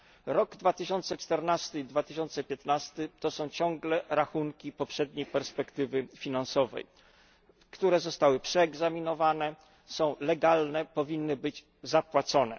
Rok 2014 i 2015 to są ciągle rachunki poprzedniej perspektywy finansowej, które zostały przeegzaminowane, są legalne, powinny być zapłacone.